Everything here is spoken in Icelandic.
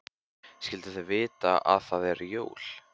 Skyldu þau vita að það eru jól?